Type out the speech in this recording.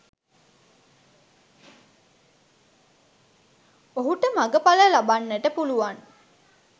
ඔහුට මගඵල ලබන්නට පුළුවන්